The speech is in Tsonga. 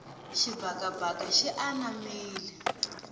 xibakabaka xi anamile